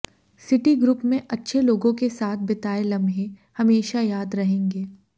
city group में अच्छे लोगों के साथ बिताए लम्हे हमेशा याद रहेंगे